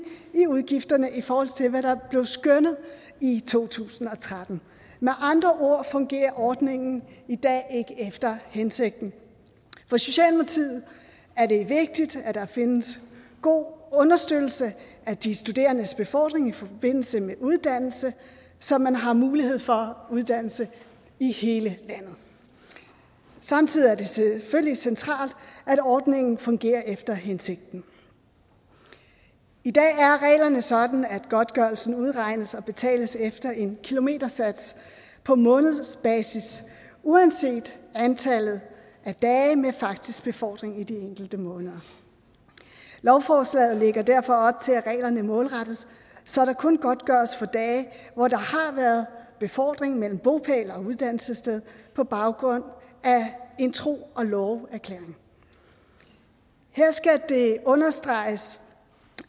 i udgifterne i forhold til hvad der blev skønnet i to tusind og tretten med andre ord fungerer ordningen i dag ikke efter hensigten for socialdemokratiet er det vigtigt at der findes god understøttelse af de studerendes befordring i forbindelse med uddannelse så man har mulighed for uddannelse i hele landet samtidig er det selvfølgelig centralt at ordningen fungerer efter hensigten i dag er reglerne sådan at godtgørelsen udregnes og betales efter en kilometersats på månedsbasis uanset antallet af dage med faktisk befordring i de enkelte måneder lovforslaget lægger derfor op til at reglerne målrettes så der kun godtgøres for dage hvor der har været befordring mellem bopæl og uddannelsessted på baggrund af en tro og love erklæring her skal det understreges